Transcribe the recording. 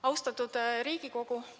Austatud Riigikogu!